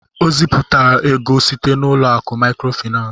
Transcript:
O zipuru ego site n'ụlọ akụ maịkrofaịnans.